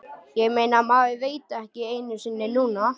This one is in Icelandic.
Ég meina, maður veit það ekki einu sinni núna.